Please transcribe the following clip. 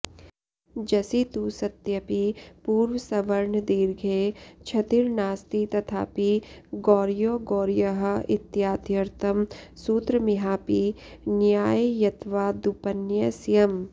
जसि तु सत्यपि पूर्वसवर्णदीर्घे क्षतिर्नास्ति तथापि गौर्यौ गौर्यः इत्याद्यर्थं सूत्रमिहापि न्याय्यत्वादुपन्यस्यम्